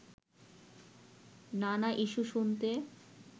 নানা ইস্যু শুনতে